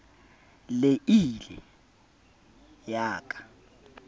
le ii le ya ka